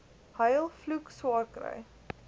huil vloek swaarkry